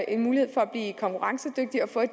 en mulighed for at blive konkurrencedygtige og for at